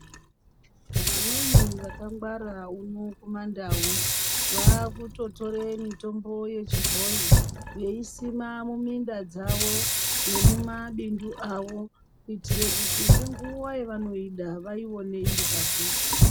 Vamweni vakangwara uno kumaNdau vaakutotore mitombo yechibhoyi veisima muminda dzavo nemumabindu avo kuitire kuti ngenguwa yavanoida vaione iripadhuze.